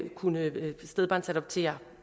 kunne stedbarnsadoptere